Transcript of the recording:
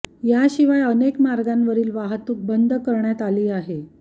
याशिवाय अनेक मार्गांवरील वाहतूक बंद करण्यात आली आहे